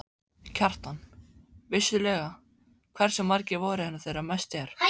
Kjartan: Vissulega, hversu margir voru hérna þegar mest er?